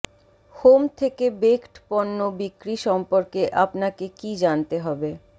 home থেকে baked পণ্য বিক্রি সম্পর্কে আপনাকে কি জানতে হবে